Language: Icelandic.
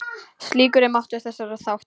Slíkur er máttur þessara þátta.